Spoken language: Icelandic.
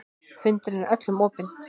Fundurinn er öllum opinn